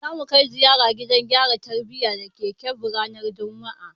Za mu kai ziyara gidan gyara tarbiyya da ke Kebbi ranar juma'a.